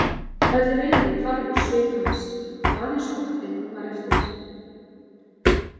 Öll reiði hvarf úr svip hans og aðeins óttinn var eftir.